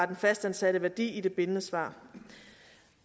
den fastansatte værdi i det bindende svar